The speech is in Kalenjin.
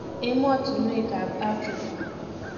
Emotunwek ab Afrika.